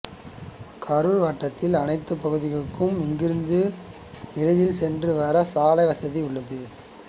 கரூர் வட்டத்தின் அனைத்து பகுதிகளுக்கும் இங்கு இருந்து எளிதில் சென்று வர சாலை வசதி உள்ளது